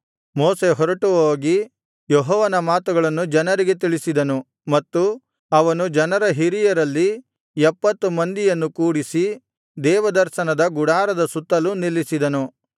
ಮೋಶೆ ಹೊರಟುಹೋಗಿ ಯೆಹೋವನ ಮಾತುಗಳನ್ನು ಜನರಿಗೆ ತಿಳಿಸಿದನು ಮತ್ತು ಅವನು ಜನರ ಹಿರಿಯರಲ್ಲಿ ಎಪ್ಪತ್ತು ಮಂದಿಯನ್ನು ಕೂಡಿಸಿ ದೇವದರ್ಶನದ ಗುಡಾರದ ಸುತ್ತಲೂ ನಿಲ್ಲಿಸಿದನು